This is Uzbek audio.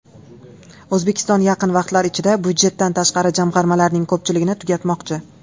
O‘zbekiston yaqin vaqtlar ichida budjetdan tashqari jamg‘armalarning ko‘pchiligini tugatmoqchi.